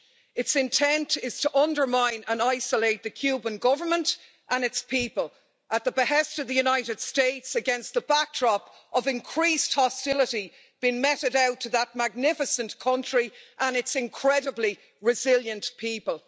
Its intent is to undermine and isolate the Cuban Government and its people, at the behest of the United States, against the backdrop of increased hostility being meted out to that magnificent country and its incredibly resilient people.